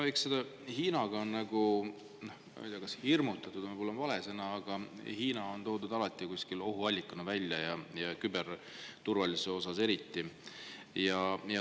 No eks selle Hiinaga on meid nagu, ma ei tea, kas just hirmutatud, see on võib-olla vale sõna, aga Hiinat on alati ohuallikana, küberturvalisuse kontekstis eriti.